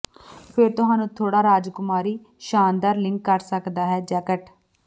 ਫਿਰ ਤੁਹਾਨੂੰ ਥੋੜ੍ਹਾ ਰਾਜਕੁਮਾਰੀ ਸ਼ਾਨਦਾਰ ਲਿੰਕ ਕਰ ਸਕਦਾ ਹੈ ਜੈਕਟ